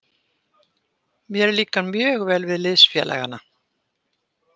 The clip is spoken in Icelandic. Mér líkar mjög vel við liðsfélagana.